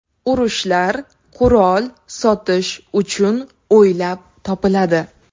Urushlar qurol sotish uchun o‘ylab topiladi.